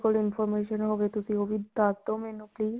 ਕੋਲ information ਹੋਵੇ ਤੁਸੀਂ ਮੈਨੂੰ ਦੱਸਦੋ ਮੈਨੂੰ please